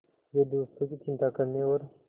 वे दूसरों की चिंता करने और